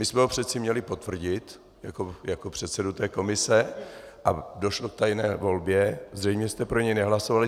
My jsme ho přeci měli potvrdit jako předsedu té komise a došlo k tajné volbě, zřejmě jste pro něj nehlasovali.